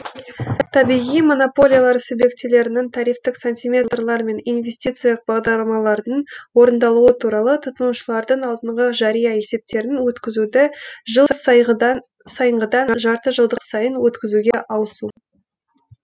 табиғи монополиялар субъектілерінің тарифтік сантиметреталар мен инвестициялық бағдарламалардың орындалуы туралы тұтынушылардың алдынғы жария есептерін өткізуді жыл сайынғыдан жарты жылдық сайын өткізуге ауысу